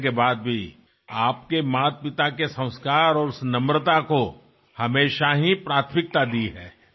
మీరు చూపే ఈ వినయమే మావంటి కొత్త తరాలవారికి అందరికీ కూడా నేర్చుకోవలసిన ముఖ్యమైన విషయం